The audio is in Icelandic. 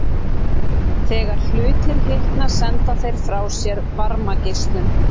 Þegar hlutir hitna senda þeir frá sér varmageislun.